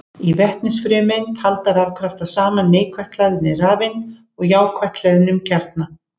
Í vetnisfrumeind halda rafkraftar saman neikvætt hlaðinni rafeind og jákvætt hlöðnum kjarna.